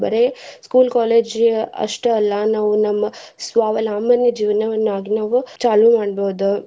ಬರೆ school college ಅಷ್ಟೇ ಅಲ್ಲಾ ನಾವ್ ನಮ್ಮ ಸ್ವಾವಲಂಬನೆ ಜೀವನವನ್ನಾಗಿ ನಾವು ಚಾಲೂ ಮಾಡ್ಬಹುದು.